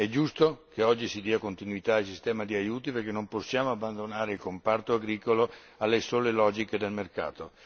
È giusto che oggi si dia continuità al sistema di aiuti perché non possiamo abbandonare il comparto agricolo alle sole logiche del mercato.